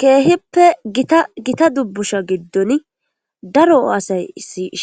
keehippe gita dubbusha giddon daro aasay